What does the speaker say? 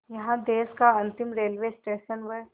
यहाँ देश का अंतिम रेलवे स्टेशन व